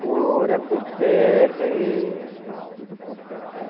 Bora por terra, êh tudo por terra vai